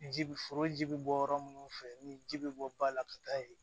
Ji bi foro ji bɛ bɔ yɔrɔ minnu fɛ ni ji bɛ bɔ ba la ka taa yen